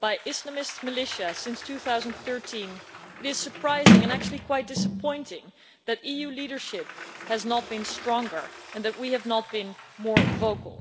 by Islamist militia since 2013, it is surprising, and actually quite disappointing, that EU leadership has not been stronger and that we have not been more vocal.